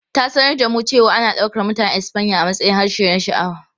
Ta sanar da mu cewa ana ɗaukar Mutanen Espanya a matsayin harshe na sha'awa.